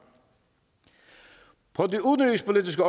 på det udenrigspolitiske